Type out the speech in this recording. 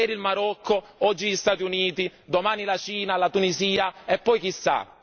Ieri il Marocco, oggi gli Stati Uniti, domani la Cina, la Tunisia e poi chissà.